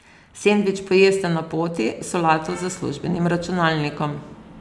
Sendvič pojeste na poti, solato za službenim računalnikom ...